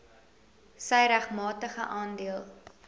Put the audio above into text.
sy regmatige aandeel